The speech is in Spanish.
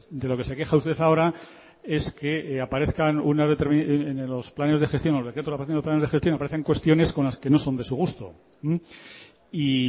de lo que se queja usted ahora es que aparezcan en los planes de gestión aparecen cuestiones con las que no son de su gusto y